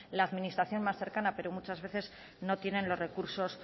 la administración más cercana pero muchas veces no tienen los recursos